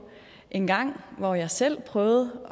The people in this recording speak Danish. dengang hvor jeg selv prøvede